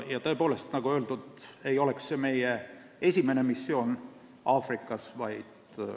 Ja nagu öeldud, see ei oleks meie esimene missioon Aafrikas.